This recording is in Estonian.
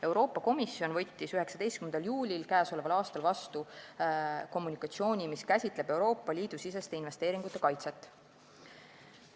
Euroopa Komisjon andis 19. juulil k.a teatise, mis käsitleb Euroopa Liidu siseste investeeringute kaitset.